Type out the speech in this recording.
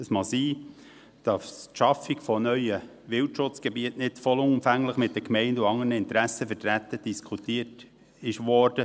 Es mag sein, dass die Schaffung neuer Wildschutzgebiete nicht vollumfänglich mit den Gemeinden und anderen Interessenvertretern diskutiert wurde.